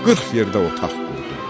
Qırx yerdə otaq qurdurtdu.